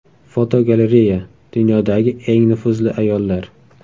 Fotogalereya: Dunyodagi eng nufuzli ayollar.